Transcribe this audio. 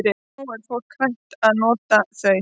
Núna er fólk hætt að nota þau.